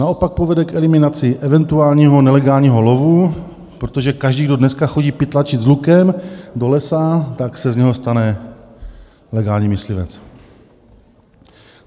"Naopak povede k eliminaci eventuálního nelegálního lovu" - protože každý, kdo dneska chodí pytlačit s lukem do lesa, tak se z něho stane legální myslivec.